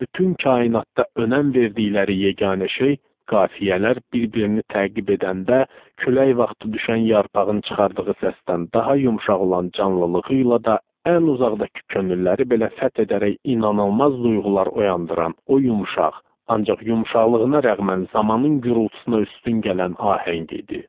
Bütün kainatda önəm verdikləri yeganə şey qafiyələr bir-birini təqib edəndə, külək vaxtı düşən yarpağın çıxardığı səsdən daha yumşaq olan canlılığı ilə də ən uzaqdakı könülləri belə fəth edərək inanılmaz duyğular oyandıran o yumşaq, ancaq yumşaqlığına rəğmən zamanın gurultusuna üstün gələn ahəng idi.